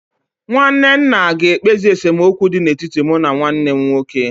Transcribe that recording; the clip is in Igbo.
Nwanne nna ga-ekpezi esemokwu dị n'etiti mụ na nwanne m nwoke.